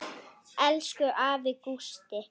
Elsku afi Gústi.